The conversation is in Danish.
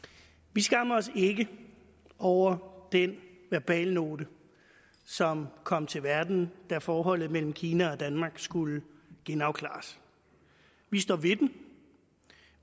vi skammer os ikke over den verbalnote som kom til verden da forholdet mellem kina og danmark skulle genafklares vi står ved den